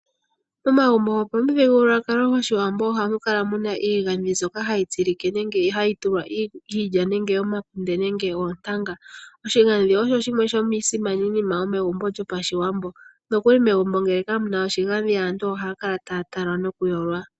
Momagumbo gopamuthigululwakalo goshiwambo ohamu kala iigandhi mbyoka hayi tsilike nenge hayi tulwa iilya, omakunde nenge oontanga. Nokuli ngele megumbo kamu na oshigandhi nena aantu ohaya kala taya talwa noku yolwa.